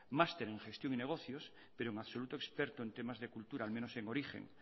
master en gestión y negocios pero en absoluto experto en temas de cultura al menos en origen